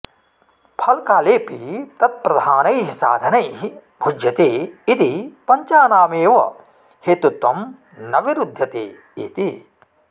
फलकालेऽपि तत्प्रधानैः साधनैः भुज्यते इति पञ्चानामेव हेतुत्वं न विरुध्यते इति